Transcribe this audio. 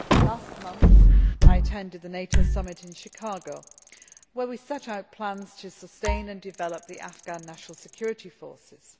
Last month, I attended the NATO summit in Chicago, where we set out plans to sustain and develop the Afghan National Security Forces.